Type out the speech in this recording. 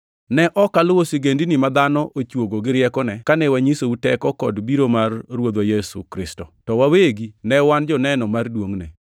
Ne ok waluwo sigendini ma dhano ochuogo gi riekone kane wanyisou teko kod biro mar Ruodhwa Yesu Kristo, to wawegi ne wan joneno mar duongʼne.